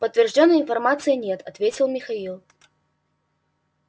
подтверждённой информации нет ответил михаил